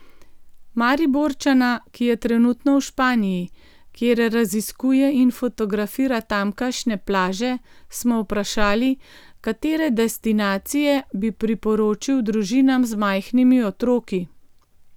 Mariborčana, ki je trenutno v Španiji, kjer raziskuje in fotografira tamkajšnje plaže, smo vprašali, katere destinacije bi priporočil družinam z majhnimi otroki.